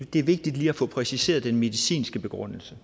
er vigtigt lige at få præciseret den medicinske begrundelse